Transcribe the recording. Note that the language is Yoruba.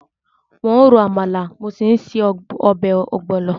Mò ń ro àmàlà, mo sì ń se ọbẹ̀ ogbono.